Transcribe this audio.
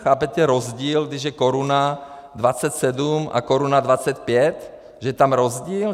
Chápete rozdíl, když je koruna 27 a koruna 25, že je tam rozdíl?